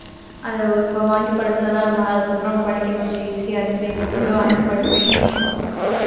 அதை இப்ப வாங்கிப் படிச்சாதான் நம்ம அதுக்கப்புறம் படிக்க கொஞ்சம் easy யா இருக்குன்னு இப்ப மட்டும் வாங்கி படிப்பேன்